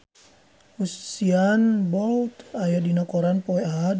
Usain Bolt aya dina koran poe Ahad